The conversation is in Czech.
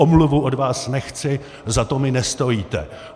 Omluvu od vás nechci, za to mi nestojíte.